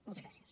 moltes gràcies